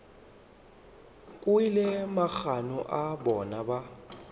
kwele magano a bona ba